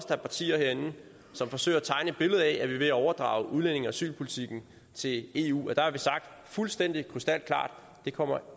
der er partier herinde som forsøger at tegne et billede af at vi er ved at overdrage udlændinge og asylpolitikken til eu og der har vi sagt fuldstændig krystalklart det kommer